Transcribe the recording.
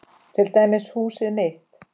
Til dæmis húsið mitt.